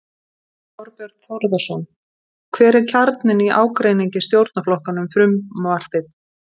Þorbjörn Þórðarson: Hver er kjarninn í ágreiningi stjórnarflokkanna um frumvarpið?